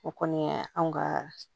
O kɔni ye anw ka